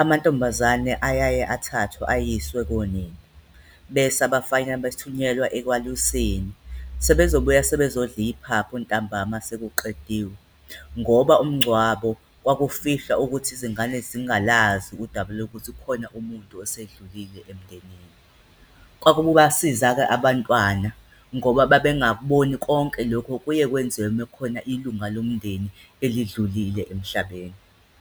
amantombazane ayaye athathwe ayiswe konina bese abafana bethunyelwa ekwaluseni, sebezobuya sebezodla iphaphu ntambama sekuqediwe ngoba umngcwabo kwakufihlwa ukuthi izingane zingalazi udaba lwokuthi khona umuntu esedlulile emndenini. kwakubasiza-ke abantwana ngoba babengakuboni konke lokho okuye kwenziwe uma kukhona ilunga lomndeni elidlulile emhlabeni.